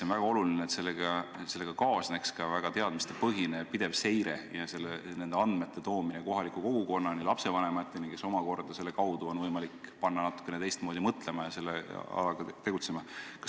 On väga oluline, et ettevõtmisega kaasneks väga teadmistepõhine ja pidev seire, andmete edastamine kohaliku kogukonnani, lapsevanemateni, keda sel viisil on ehk võimalik panna natukene teistmoodi mõtlema ja tegutsema.